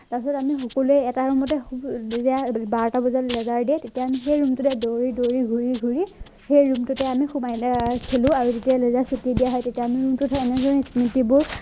তাৰ পিছত আমি সকলোৱে এটা room টে বাৰতা বজাত দিয়ে তেতিয়া সেই room টোতে দৌৰি দৌৰি ঘূৰি ঘূৰি সেই room টোতে আমি সোমাইলৈ আৰু খেলো আৰু যেতিয়াই ছুটি দিয়া হয় তেতিয়া room টোত এনেদৰে স্মৃতিবোৰ